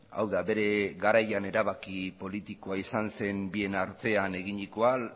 hau da bere garaian erabaki politikoa izan zen bien artean eginiko